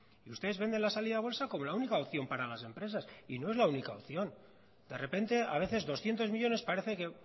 y ustedes venden la salida a bolsa como la única opción para las empresas y no es la única opción de repente a veces doscientos millónes parece que